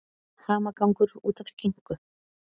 Hamagangur út af skinku